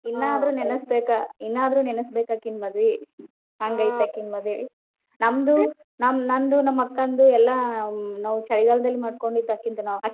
ಇನ್ನಾದ್ರೂ ನೆನಸಬೆಕ್ ಇನ್ನಾದ್ರೂ ನೆನಸಬೆಕ್ ಅಕಿನ ಮದ್ವಿ ಹಂಗ ಐತಿ ಅಕಿನ ಮದ್ವಿ. ನಮ್ದು~ ನಂದು ನಮ್ಮ್ ಅಕ್ಕಂದು ಎಲ್ಲ ನಾವು ಚಳಿಗಾಲದಲ್ಲಿ ಮಾಡ್ಕೊಂಡಿದ್ದ ಅಕಿನ .